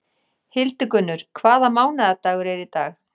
Hildigunnur, hvaða mánaðardagur er í dag?